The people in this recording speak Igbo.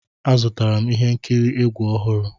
Azụtara m ihe nkiri egwu ọhụrụ.